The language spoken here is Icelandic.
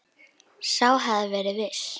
Sá hafði verið viss!